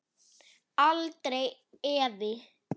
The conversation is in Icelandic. Aldrei efi.